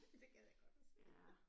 Det gad jeg godt at se